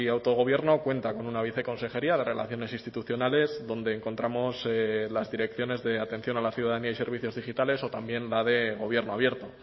autogobierno cuenta con una viceconsejería de relaciones institucionales donde encontramos las direcciones de atención a la ciudadanía y servicios digitales o también la de gobierno abierto